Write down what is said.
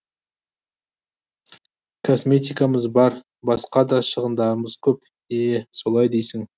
косметикамыз бар басқа да шығындарымыз көп е солай дейсің